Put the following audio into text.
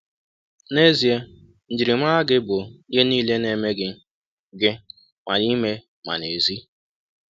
N’ezie, njirimara gị bụ ihe niile na-eme gị, gị – ma n’ime ma n’èzí.